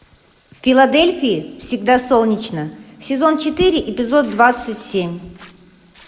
в филадельфии всегда солнечно сезон четыре эпизод двадцать семь